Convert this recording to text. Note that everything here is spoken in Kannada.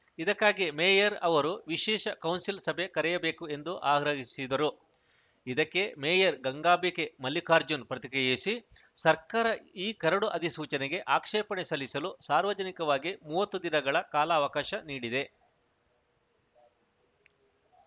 ಇದಕ್ಕಾಗಿ ಮೇಯರ್‌ ಅವರು ವಿಶೇಷ ಕೌನ್ಸಿಲ್‌ ಸಭೆ ಕರೆಯಬೇಕು ಎಂದು ಆಗ್ರಹಿಸಿದರು ಇದಕ್ಕೆ ಮೇಯರ್‌ ಗಂಗಾಂಬಿಕೆ ಮಲ್ಲಿಕಾರ್ಜುನ್‌ ಪ್ರತಿಕ್ರಿಯಿಸಿ ಸರ್ಕಾರ ಈ ಕರಡು ಅಧಿಸೂಚನೆಗೆ ಆಕ್ಷೇಪಣೆ ಸಲ್ಲಿಸಲು ಸಾರ್ವಜನಿಕವಾಗಿ ಮೂವತ್ತು ದಿನಗಳ ಕಾಲಾವಕಾಶ ನೀಡಿದೆ